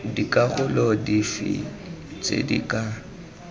dikarolo dife tse di ka